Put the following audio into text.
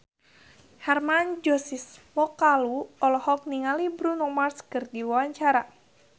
Hermann Josis Mokalu olohok ningali Bruno Mars keur diwawancara